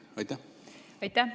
Aitäh!